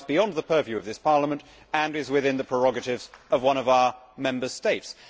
It lies beyond the purview of this Parliament and is within the prerogatives of one of our Member States.